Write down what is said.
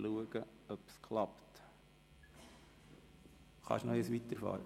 Können Sie bitte weiterfahren?